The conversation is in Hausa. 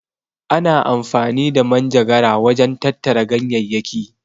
Ana amfani da manjagara wajen tattara ganyayyaki.